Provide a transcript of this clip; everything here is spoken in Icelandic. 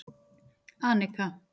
Anika